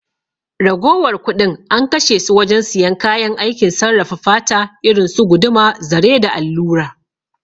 Ragowar kuɗin an kashe su wajen siyan kayan aikin sarrafa fata irinsu guduma, zare da allura